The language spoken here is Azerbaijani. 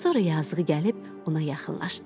Sonra yazığı gəlib ona yaxınlaşdı.